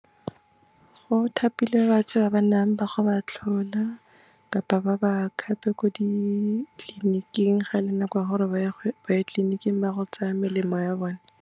Go thapilwe batho ba ba nang ba go ba tlhola kapa ba ba khape ko ditleliniking ga e le nako ya gore ba ye tleliniking ba go tsaya melemo ya bone.